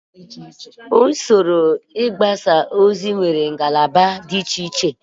Usoro mgbasa ozi nwere ngalaba dị icheiche